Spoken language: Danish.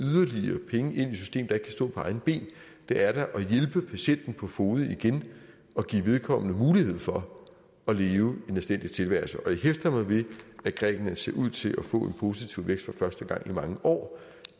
stå på egne ben det er da at hjælpe patienten på fode igen og give vedkommende mulighed for at leve en anstændig tilværelse og jeg hæfter mig ved at grækenland ser ud til at få en positiv vækst for første gang i mange år